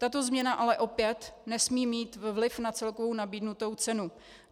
Tato změna ale opět nesmí mít vliv na celkovou nabídnutou cenu.